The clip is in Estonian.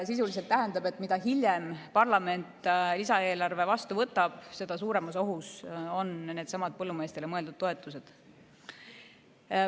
Sisuliselt tähendab see, et mida hiljem parlament lisaeelarve vastu võtab, seda suuremas ohus on needsamad põllumeestele mõeldud toetused.